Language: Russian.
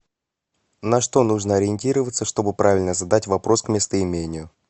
на что нужно ориентироваться чтобы правильно задать вопрос к местоимению